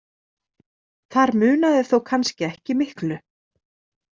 Þar munaði þó kannski ekki miklu.